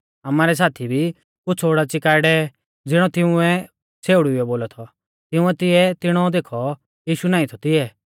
आमारै साथी भी कुछ़ ओडाच़ी काऐ डेवै ज़िणौ तिऊं छ़ेउड़ीउऐ बोलौ थौ तिंउऐ तिऐ तिणौ देखौ यीशु नाईं थौ तिऐ